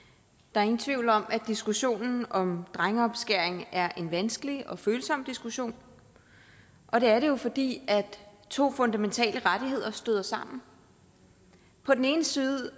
er ingen tvivl om at diskussionen om drengeomskæring er en vanskelig og følsom diskussion og det er det fordi to fundamentale rettigheder støder sammen på den ene side